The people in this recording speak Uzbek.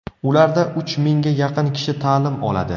Ularda uch mingga yaqin kishi ta’lim oladi.